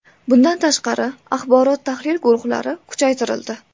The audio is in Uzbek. Bundan tashqari, axborot-tahlil guruhlari kuchaytirildi.